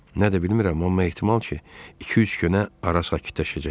Nədir bilmirəm, amma ehtimal ki, iki-üç günə hara sakitləşəcək.